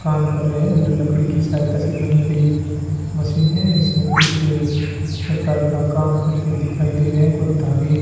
काम कर रहे हैं ल लकड़ी की सहायता से बनी गई मशीन है इसमें कुछ प्रकार का काम करते दिखाई दे रहे हैं कोई धागे --